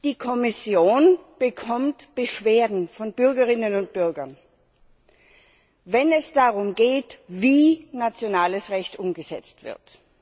Die Kommission bekommt Beschwerden von Bürgerinnen und Bürgern, wenn es darum geht, wie nationales Recht umgesetzt wird.